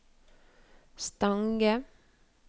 Stange